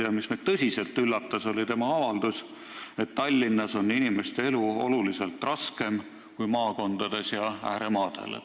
Ja meid tõsiselt üllatas tema avaldus, et Tallinnas on inimeste elu oluliselt raskem kui maakondades ja ääremaadel.